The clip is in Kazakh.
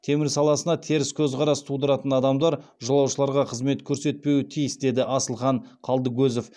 темір саласына теріс көзқарас тудыратын адамдар жолаушыларға қызмет көрсетпеу тиіс деді асылхан қалдыкозов